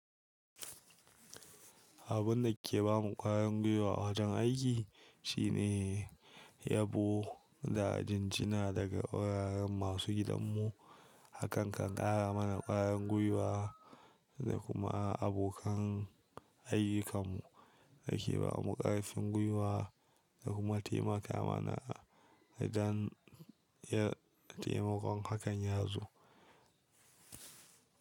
Abun da ke ba mu ƙwayan gwiwa a wajen aiki shine yabo da jinjina daga wuraren masu gidanmu. Hakan kan ƙara mana ƙwarin gwiwa da kuma abokan aiyukanmu da ke ba mu ƙarfin gwiwa da kuma taimakawa mana a dan yin taimakon hakan ya zo.